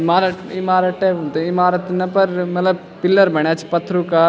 ईमारत ईमारत टाइप म त इमारत न पर मलब पिलर बण्यां छी पत्थरु का।